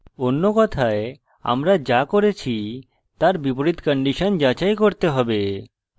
অন্য কথায় আমরা যা করেছি তার বিপরীত condition যাচাই করতে হবে